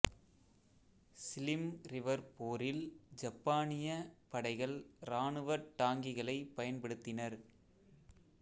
சிலிம் River போரில் ஜப்பானிய படைகள் இராணுவ டாங்கிகளைப் பயன்படுத்தினர்